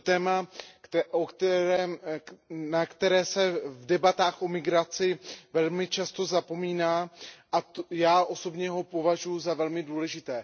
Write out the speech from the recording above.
Je to téma, na které se v debatách o migraci velmi často zapomíná, a já osobně ho považuju za velmi důležité.